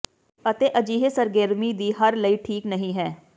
ਅਤੇ ਅਜਿਹੇ ਸਰਗਰਮੀ ਦੀ ਹਰ ਲਈ ਠੀਕ ਨਹੀ ਹੈ